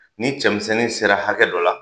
Ni cɛmisɛnnin sera hakɛ dɔ la